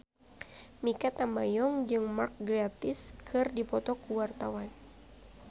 Mikha Tambayong jeung Mark Gatiss keur dipoto ku wartawan